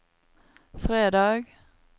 fredag